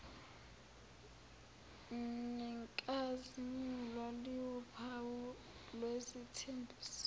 nenkazimulo liwuphawu lwesithembiso